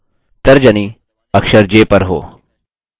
तर्जनी अक्षर j पर हो